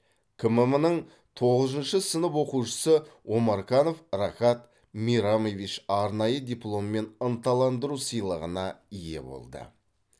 кмм нің тоғызыншы сынып оқушысы омарканов рахат мейрамович арнайы диплом мен ынталандыру сыйлығына ие болды